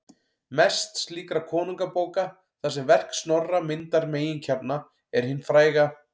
Mest slíkra konungabóka, þar sem verk Snorra myndar meginkjarna, er hin fræga